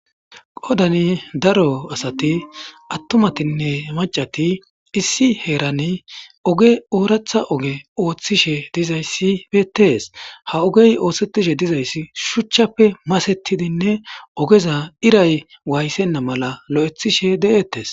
Qodani daro asati attumatinne maccati issi heerani oge ooratha oge ooththishe dizayssi beetees. Ha ogey oosettishe dizayssi shuchchappe masettidinne ogeza iray waayethenna mala lo7ethishe de7ettees.